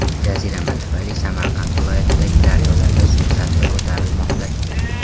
Jazirama tufayli Samarqand viloyatidagi daryolarda suv sathi ko‘tarilmoqda .